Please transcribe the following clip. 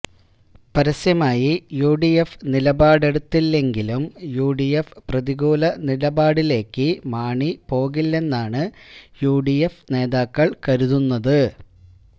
പരസ്യമായി യുഡിഎഫ് നിലപാടെടുത്തില്ലെങ്കിലും യുഡിഎഫ് പ്രതികൂല നിലപാടിലേക്ക് മാണി പോകില്ലെന്നാണ് യുഡിഎഫ് നേതാക്കള് കരുതുന്നത്